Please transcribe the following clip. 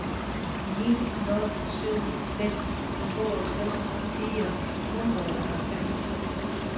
ni nul syv seks toogtres fire hundrede og halvfems